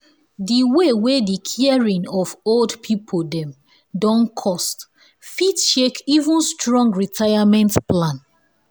the way wey the caring of old pipu dem don coste fit shake even strong retirement plan.